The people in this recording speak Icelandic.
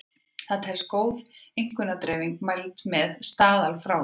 Það telst góð einkunnadreifing mæld með staðalfráviki.